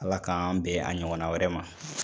Ala k'an bɛn a ɲɔgɔn na wɛrɛ ma.